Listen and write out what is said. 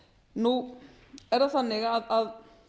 nú er það þannig að